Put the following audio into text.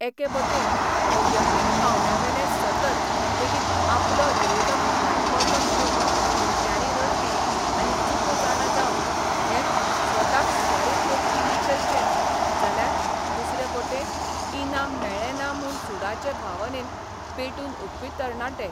एके बटेन वैयक्तीक पावंडयेवेले सतत लेगीत आपलो विरोधक भायर पडलो म्हणून हिमट्यांनी रडपी आनी चुको जाणा जावन घेत स्वताक सुदारीत वचपी लिटल चॅम्प्स, जाल्यार दुसरे बटेन इनाम मेळ्ळें ना म्हूण सुडाचे भावनेन पेटून उठपी तरणाटे.